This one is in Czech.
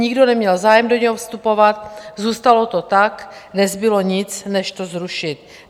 Nikdo neměl zájem do něho vstupovat, zůstalo to tak, nezbylo nic než to zrušit.